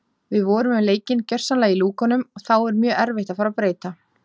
Við vorum með leikinn gjörsamlega í lúkunum þá er mjög erfitt að fara að breyta.